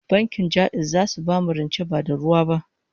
Bankin Ja'iz zasu bamu rance ba da ruwa ba